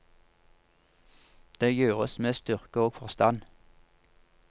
Det gjøres med styrke og forstand.